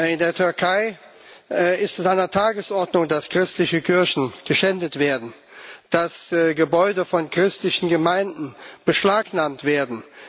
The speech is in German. In der Türkei ist es an der Tagesordnung, dass christliche Kirchen geschändet werden, dass Gebäude von christlichen Gemeinden beschlagnahmt werden.